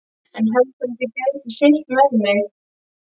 En heldurðu að þið gætuð siglt með mig.